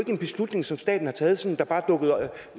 en beslutning som staten har taget som